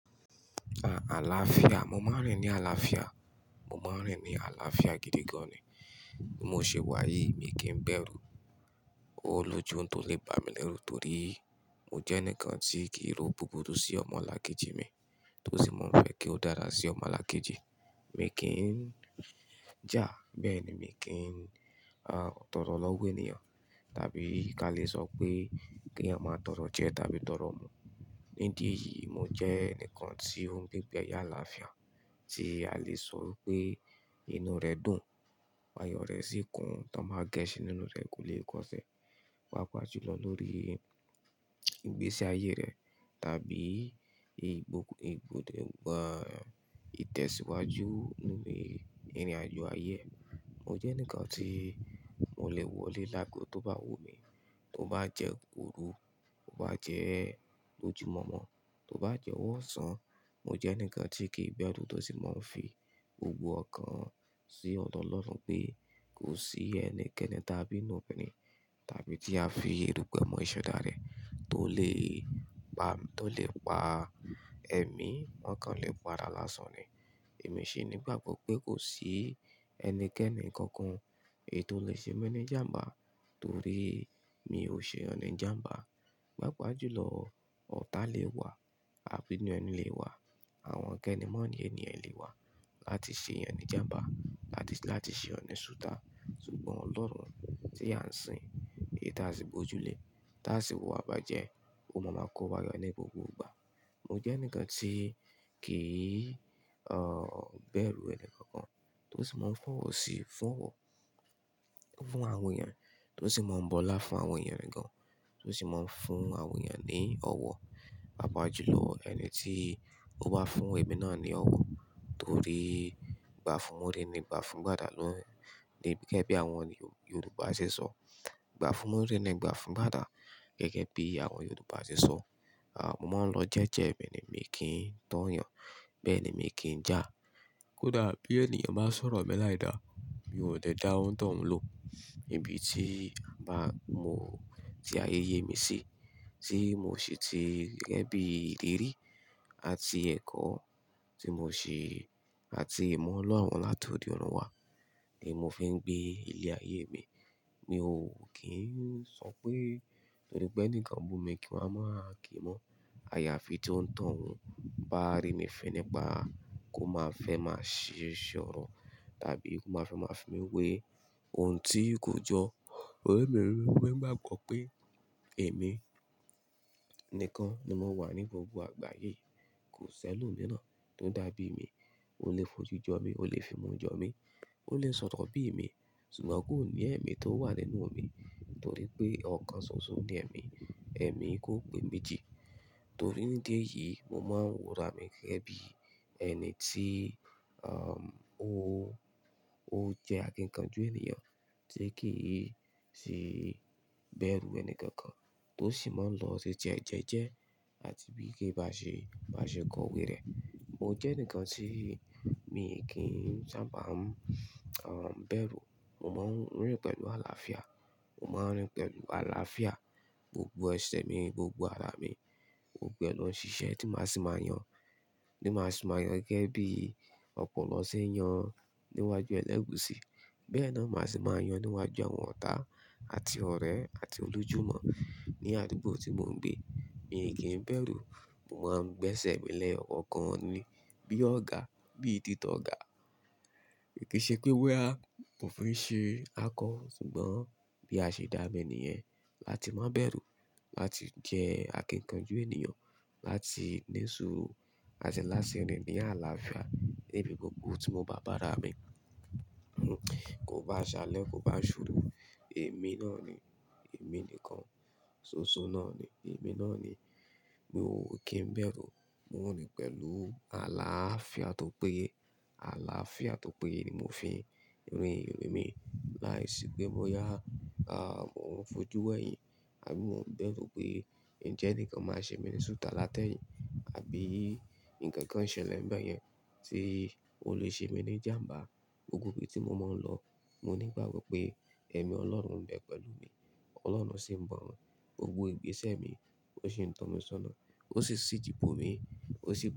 À àlàáfíà, mo máa ń rìn ní àlàáfíà. Mo máa ń rìn ní àlàáfíà gidi gan ni. Bi mo ṣe wàyìí, mi kìí bẹ̀rù olójú ohun tó lè bá mi lẹ́rù torí mo jẹ́ enikan tí kì í ro búburú sí ọmọ alákejì mi, tó sì mọ̀ pé kí ó dára sí ọmọ alákejì mi kí n já. Bẹ́ẹ̀ ni mi kì í, ah, tọrọ ọ lọ́wọ́ ènìyàn. Tàbí ka lè sọ pé kí eeyah máa tọrọ jẹ tábí tọrọ mu. Ní idí eyìí, mo jẹ́ enikan tí ó ń gbé igbeayé àlàáfíà tí a lè sọ pé inú rẹ̀ dùn, ayọ̀ rẹ̀ sì kún, toba gẹ́sin nínú rẹ̀ kò lè kọ́ṣẹ́. Pápàjùlọ lórí ìgbésí ayé rẹ̀ tàbí ìbòkù-- ìbòde, ìbá, ìtẹ̀síwájú nínú ìrìnàjò ayé. Mo jẹ́ ǹkan tí mo lè wọlé lágọ tó bá wù mí, kó bá jẹ́ òru, kó bá jẹ́ lójúmọ̀ọ́mọ̀, kó bá jẹ́ ọwọ́ ọ̀sán. Mo jẹ́ enikan tí kìi bẹ̀rù tó sì mọ̀ pé ò fi gbogbo ọ̀kan sí ọ̀dọ̀ Ọlọ́run pé kò sí ẹni kenikeni tábí nínú obìnrin tábí tí a fi erùpẹ̀ mọ iṣẹ́ dára rẹ̀ tó lè pa, tó lè pa ẹ̀mí, ọ̀kan lè pa àrà lásán ni. Èmi ṣi nígbàgbọ́ pé kò sí ẹmi kemi kemi kankan èyii tó lè ṣe mi ní jàmbá torí mi ò ṣe eeyan ni jàmbá. Pápàjùlọ, ọ̀tá lè wà, abinuẹni lè wà, àwọn keni moni ẹ lè wà láti ṣe eeyan ni jàmbá, láti, láti ṣe ọ̀ni sútà. Ṣùgbọ́n Ọlọ́run tí a ń sìn, èyii tasì gbojúlé, táa sì wuwa ibájẹ́, ò máa máa kó wa yọ ní gbogbo ìgbà. Mo jẹ́ ǹkan tí kì í, ah, bẹ̀rù ẹnì kankan tó sì mọ̀ fọ́wọ́ sí fọ́wọ́ fún àwọn ènìyàn tó sì mọ̀ bọlá fún àwọn èeyan re gan, tó sì mọ̀ ń fún àwọn ènìyàn ní ọ̀wọ̀. Pápàjùlọ ẹni tí ó bá fún ẹ̀mí náà ní ọ̀wọ̀ torí "gbá fún múri ni gbá fún gbàdà" ló, ni gẹ́gẹ́ bí àwọn Yorùbá ṣe sọ. "Gbá fún múri ni gbá fún gbàdá" gẹ́gẹ́ bí àwọn Yorùbá ṣe sọ. Ah, mo máa ń lọ jẹ́jẹ́ ẹ̀mí mi kí n too yàn. Bẹ́ẹ̀ ni mo kì í já kódà bí ènìyàn bá sọ̀rọ̀ mi láìda, mi ò lè dá ontohun ń lò. Ibi tí a bá mú, tí ayé yé mi sí, tí mo ṣe ti gẹ́gẹ́ bí ìrir àti ẹ̀kọ́ tí mo ṣe àti ìmọ̀ ọlọ́run látọ̀de ọ́run wà ni mo fi ń gbé ilé ayé mi. Mi ò kí ń sọ pé torípé enikan bú mi kí máa kí mọ́. Àyàfi tí ó ń tohún bá rí mi fún nípa kó máa fẹ́ máa ṣiṣẹ́ ọ̀rọ̀ tàbí kó máa ma fẹ́ máa fi mí wé ohun tí kò jọ. Torí mi riro pe ngba kanpé èmi nìkan ni mo wà ní gbogbo àgbáyé. Kò sí ẹlomìíràn tó dàbí mi. Ó lè fojú jọ mí, ó lè fi imú jọ mí, ó lè sọ̀rọ̀ bí èmi, ṣùgbọ́n kò ní ẹ̀mí tó wà nínú mi torí pé ọ̀kan ṣoṣo ni ẹ̀mí. Ẹ̀mí kò pé méjì. Torí ní ìdí eyìí, mo máa ń wora mi gẹ́gẹ́ bí ẹni tí, ah, ó, ó jẹ́ akíkanjú ènìyàn tí kì í si bẹ̀rù ẹni kankan tó sì máa ń lọ titi e jẹ́jẹ́ àti bí kì íbá ṣe, bá ṣe kọ̀wé e. Mo jẹ́ ǹkan tí mi kì í sábà ń, ah, bẹ̀rù. Mo máa ń rìn pẹ̀lú àlàáfíà. Mo máa ń rìn pẹ̀lú àlàáfíà gbogbo eṣẹ̀ mi, gbogbo ara mi, gbogbo lo n ṣiṣẹ́ tí màá sì máa yàn, ti màá sì máa yàn gẹ́gẹ́ bí ọ̀pọ̀lọ ṣe ń yan níwájú ẹlẹ́gusi. Bẹ́ẹ̀ náà màá se máa yàn níwájú àwọn ọ̀tá àti ọ̀rẹ́ àti olu júmọ̀ ní àdúgbò tí mò ń gbé. Mi kì í bẹ̀rù. Mo máa ń gbẹ́sẹ̀ mi lẹ́ yọ̀ kankan ni bí ọ̀gá, bí títọ́ ọ̀gá. Kì í ṣe pé bóyá mò fi ń ṣe akọ ṣùgbọ́n bí a ṣe dá mi nìyẹn láti má bẹ̀rù, láti jẹ́ akíkanjú ènìyàn, láti ní sùúrù àti láti rìn ní àlàáfíà níbi gbogbo tí mo bá bára mi. Kò bá ṣálẹ́, kò bá ṣòru. Èmi náà ni, èmi nìkan. Ṣoṣo náà ni, èmi náà ni. Mi ò kí ń bẹ̀rù. Rin pẹ̀lú àlàáfíà tó pé. Àlàáfíà tó pé ni mo fi ń rìn ìrìn mi. Láìsí pé boyá, ah, mo ń fojú wẹ̀yìn àbí mo ń bẹ́rù pé ǹjẹ́ ẹnikan máa ṣe mi ní sútà látẹ̀yìn àbí ǹkan kan ṣẹlẹ̀ ń bẹ́ yẹn tí ó lè ṣe mi ní jàmbá. Gbogbo ibi tí mo mo n lọ, mó nígbàgbọ́ pé ẹ̀mí Ọlọ́run n be pẹ̀lú mi. Ọlọ́run sì ń ba n wo gbogbo ìgbésẹ̀ mi, ó sì ń tọ́ mi sọ́nà, ó sijí bomi, ó sì.